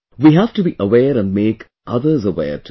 We have to be aware and make others aware too